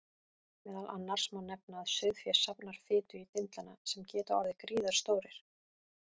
Meðal annars má nefna að sauðfé safnar fitu í dindlana sem geta orðið gríðarstórir.